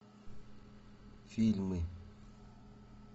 фильмы